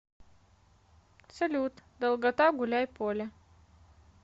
салют долгота гуляйполе